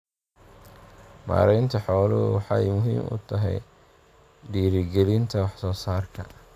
Maareynta xooluhu waxay muhiim u tahay dhiirigelinta wax soo saarka.